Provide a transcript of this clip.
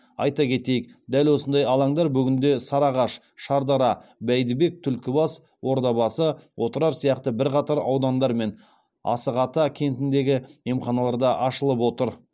айта кетейік дәл осындай алаңдар бүгінде сарыағаш шардара бәйдібек түлкібас ордабасы отырар сияқты бірқатар аудандар мен